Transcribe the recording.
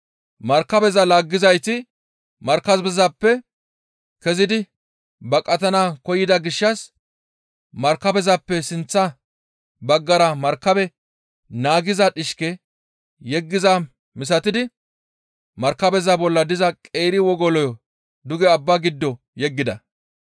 Markabeza laaggizayti markabezappe kezidi baqatana koyida gishshas markabezappe sinththa baggara markabe naagiza dhishke yeggizaa misatidi markabeza bolla diza qeeri wogoloyo duge abbaa giddo yeggida.